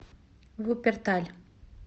вупперталь